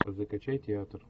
закачай театр